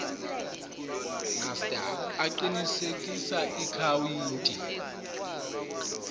master aqinisekisa ikhawunti